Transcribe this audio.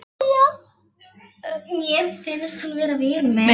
Mér finnst hún vera vinur minn.